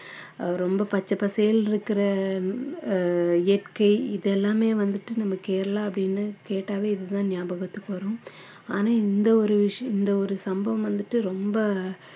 ஆஹ் ரொம்ப பச்சை பசேல்னு இருக்கிற ஆஹ் இயற்கை இது எல்லாமே வந்துட்டு நம்ம கேரளா அப்படின்னு கேட்டாவே இதுதான் ஞாபகத்துக்கு வரும் ஆனா இந்த ஒரு விஷயம் இந்த ஒரு சம்பவம் வந்துட்டு ரொம்ப